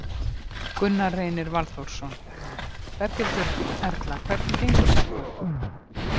Gunnar Reynir Valþórsson: Berghildur Erla, hvernig gengur þarna?